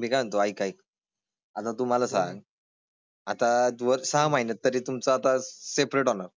मी काय म्हणतो ऐक ऐक आता तुम्हाला सांग. आता जर सहा महिन्यात तरी तुमचा आता सेपरेट होणार